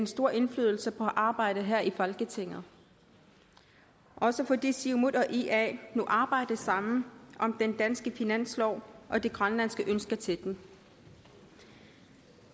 stor indflydelse på arbejdet her i folketinget også fordi siumut og ia nu arbejder sammen om den danske finanslov og de grønlandske ønsker til den